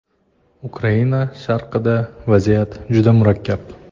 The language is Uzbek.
Ukraina sharqida vaziyat juda murakkab.